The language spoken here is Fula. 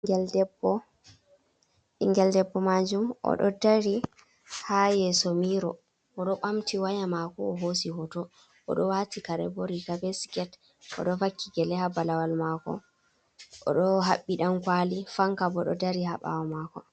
Ɓingel debbo majum o do dari ha yeso miro o ɗo ɓamti waya mako o hosi hoto odo wati kare bo riga be sket odo vakki gele ha balawal mako odo haɓɓi dankwali fanka bo do dari ha bawo mako.